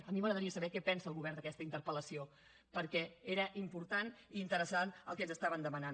a mi m’agradaria saber què pensa el govern d’aquesta interpel·lació perquè era important i interessant el que ens estaven demanant